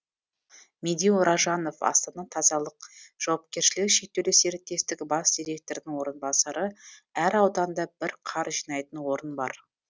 медеу ражанов астана тазалық жауапкешілігі шектеулі серіктестігі бас директорының орынбасары әр ауданда бір қар жинайтын орын бар